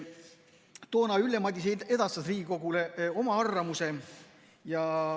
Toona edastas Ülle Madise Riigikogule oma arvamuse.